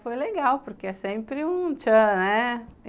Foi legal, porque é sempre um tchan, né?